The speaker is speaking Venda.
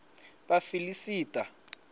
vhafiḽisita